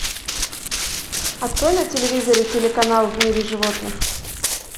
открой на телевизоре телеканал в мире животных